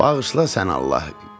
Bağışla sən Allah.